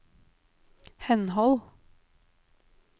henhold